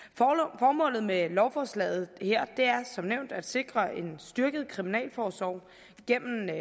af med lovforslaget her er som nævnt at sikre en styrket kriminalforsorg gennem den